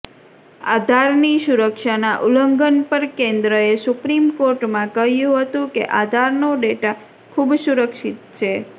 આધારની સુરક્ષાના ઉલ્લંઘન પર કેન્દ્રએ સુપ્રીમ કોર્ટમાં કહ્યું હતું કે આધારનો ડેટા ખૂબ સુરક્ષિત છે